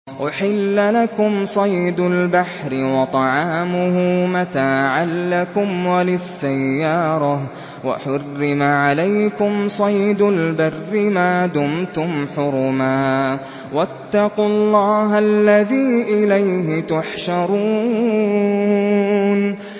أُحِلَّ لَكُمْ صَيْدُ الْبَحْرِ وَطَعَامُهُ مَتَاعًا لَّكُمْ وَلِلسَّيَّارَةِ ۖ وَحُرِّمَ عَلَيْكُمْ صَيْدُ الْبَرِّ مَا دُمْتُمْ حُرُمًا ۗ وَاتَّقُوا اللَّهَ الَّذِي إِلَيْهِ تُحْشَرُونَ